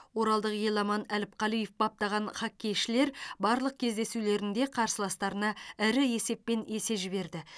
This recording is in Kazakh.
оралдық еламан әліпқалиев баптаған хоккейшілер барлық кездесулерінде қарсыластарына ірі есеппен есе жіберді